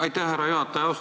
Aitäh, härra juhataja!